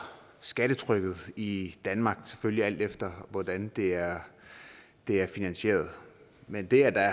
skattetrykket i danmark selvfølgelig alt efter hvordan det er det er finansieret men det at der